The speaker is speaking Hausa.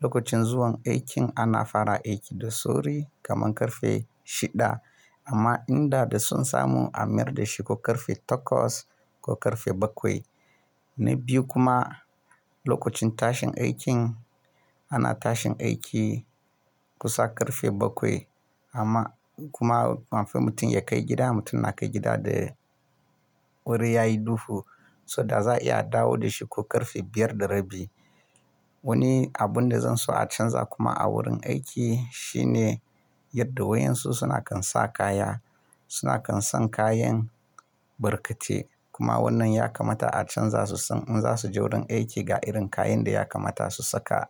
Lokacin zuwan aikin ana fara aiki da sauri kamar ƙarfe shida, amma inda da son samu a mayar da shi ko ƙarfe takwas ko ƙarfe bakwai. Na biyu kuma lokacin tashin aikin Ana tashin aiki kusa ƙarfe bakwai, amma kuma kafiin mutum ya kai gida, mutum na kai gida da wuri ya yi duhu, so da za a iya dawo da shi ko ƙarfe biyar da rabi. Wani abun da zan so a canza kuma a wurin aiki shine yadda wayansu suna kan sa kaya. Suna kan san kayan barkate, kuma wannan ya kamata a canza su san in za su je wurin aiki ga irin kayan da ya kamata su saka.